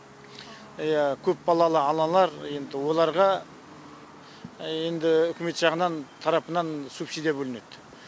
иә көпбалалы аналар енді оларға енді үкімет жағынан тарапынан субсидия бөлінеді